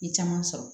N ye caman sɔrɔ